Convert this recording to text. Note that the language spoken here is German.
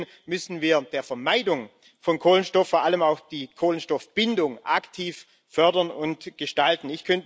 Deswegen müssen wir die Vermeidung von Kohlenstoff, vor allem auch die Kohlenstoffbindung, aktiv fördern und gestalten.